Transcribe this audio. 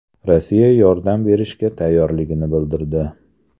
Rossiya yordam berishga tayyorligini bildirdi.